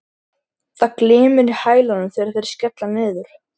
Það glymur í hælunum þegar þeir skella niður.